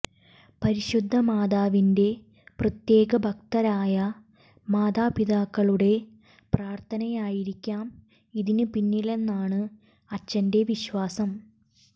പരിശുദ്ധ മാതാവിന്റെ പ്രത്യേക ഭക്തരായ മാതാപിതാക്കളുടെ പ്രാർത്ഥനയായിരിക്കാം ഇതിന് പിന്നിലെന്നാണ് അച്ചന്റെ വിശ്വാസം